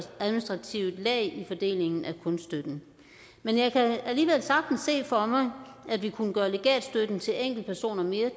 administrativt lag i fordelingen af kunststøtten men jeg kan alligevel sagtens se for mig at vi kunne gøre legatstøtten til enkeltpersoner mere